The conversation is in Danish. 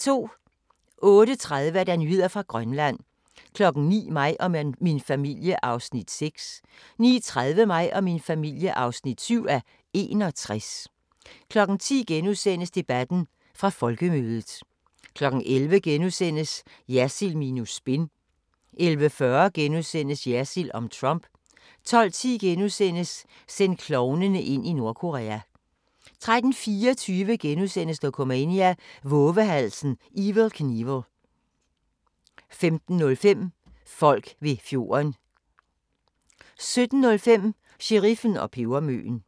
08:30: Nyheder fra Grønland 09:00: Mig og min familie (6:61) 09:30: Mig og min familie (7:61) 10:00: Debatten – fra Folkemødet * 11:00: Jersild minus spin * 11:40: Jersild om Trump * 12:10: Send klovnene ind i Nordkorea * 13:24: Dokumania: Vovehalsen Evel Knievel * 15:05: Folk ved fjorden 17:05: Sheriffen og pebermøen